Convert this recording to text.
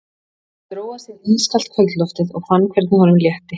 Hann dró að sér ískalt kvöldloftið og fann hvernig honum létti.